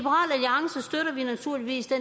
naturligvis det